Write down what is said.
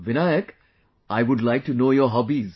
Vinayak, I would like to know your hobbies